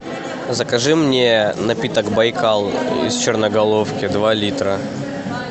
закажи мне напиток байкал из черноголовки два литра